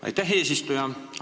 Aitäh, eesistuja!